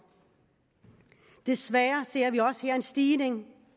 og desværre ser vi også her en stigning